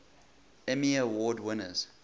emmy award winners